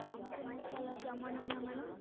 மஞ்ச மசாலா ஜாமான்களா madam?